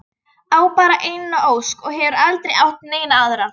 Á bara eina ósk og hefur aldrei átt neina aðra.